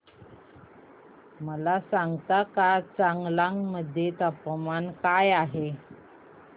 मला सांगता का चांगलांग मध्ये तापमान काय आहे